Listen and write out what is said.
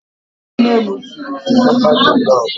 Nne m siri osikapa jellof